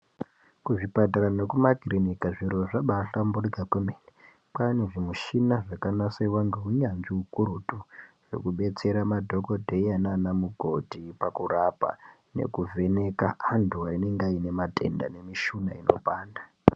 Kuzvipatara nekumakirinika zviro zvabaahlamburika kwemene. Kwaanezvimuchina zvakanasirwa ngeunyanzvi hukurutu. Hwekubetsera madhogodheya naana mukoti pakurapa nekuvheneka antu anenge aie matenda nemishuna inopanda.